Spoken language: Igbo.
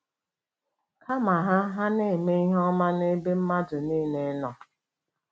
Kama, ha ha “na-eme ihe ọma n’ebe mmadụ niile nọ.